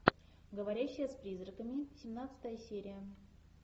говорящая с призраками семнадцатая серия